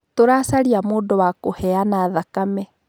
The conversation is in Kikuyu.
Tũracaria mdũ wa kũheana thakame.